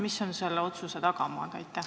Millised on selle otsuse tagamaad?